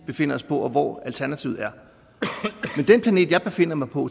befinder os på og hvor alternativet er men den planet jeg befinder mig på